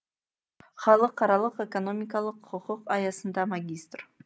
халықаралық экономикалық құқық аясында магистр